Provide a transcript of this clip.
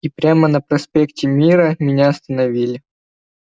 и прямо на проспекте мира меня остановили